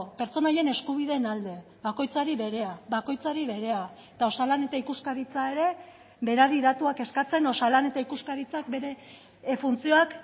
pertsona horien eskubideen alde bakoitzari berea bakoitzari berea eta osalan eta ikuskaritza ere berari datuak eskatzen osalan eta ikuskaritzak bere funtzioak